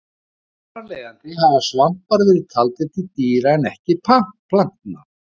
Þar af leiðandi hafa svampar verið taldir til dýra en ekki plantna.